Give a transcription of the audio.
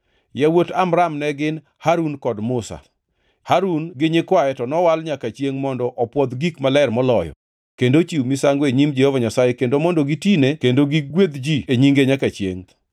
Yawuot Amram ne gin: Harun kod Musa. Harun gi nyikwaye to nowal nyaka chiengʼ mondo opwodh gik maler moloyo, kendo ochiw misango e nyim Jehova Nyasaye kendo mondo gitine kendo gigwedh ji e nyinge nyaka chiengʼ.